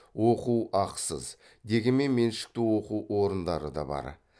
оқу ақысыз дегенмен меншікті оқу орындары да бар